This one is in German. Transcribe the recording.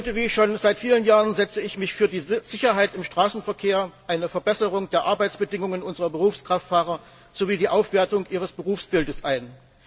Heute wie schon seit vielen Jahren setze ich mich für die Sicherheit im Straßenverkehr, eine Verbesserung der Arbeitsbedingungen unserer Berufskraftfahrer sowie die Aufwertung ihres Berufsbildes ein.